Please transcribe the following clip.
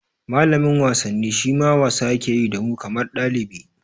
Malamin wasanni shima wasa yake yi da mu kamar ɗalibi